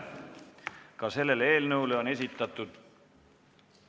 Ka selle eelnõu kohta on esitatud ...